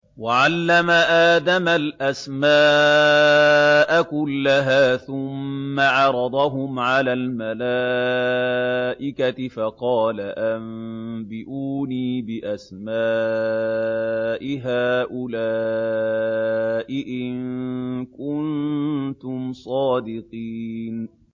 وَعَلَّمَ آدَمَ الْأَسْمَاءَ كُلَّهَا ثُمَّ عَرَضَهُمْ عَلَى الْمَلَائِكَةِ فَقَالَ أَنبِئُونِي بِأَسْمَاءِ هَٰؤُلَاءِ إِن كُنتُمْ صَادِقِينَ